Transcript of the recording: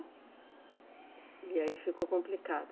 E aí ficou complicado.